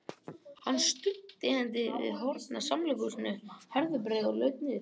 Hann studdi hendi við hornið á samkomuhúsinu Herðubreið og laut niður.